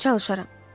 Çalışaram.